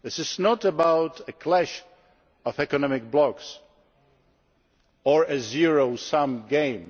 This is not about a clash of economic blocks or a zero sum game.